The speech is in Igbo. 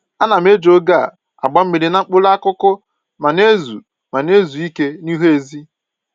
Ana m eji oge a agba mmiri na mkpụrụ akụkụ ma na-ezu ma na-ezu ike n'ihu ezi